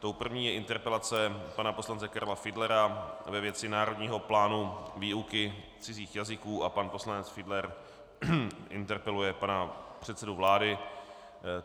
Tou první je interpelace pana poslance Karla Fiedlera ve věci národního plánu výuky cizích jazyků a pan poslanec Fiedler interpeluje pana předsedu vlády.